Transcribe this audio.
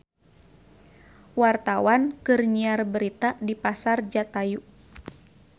Wartawan keur nyiar berita di Pasar Jatayu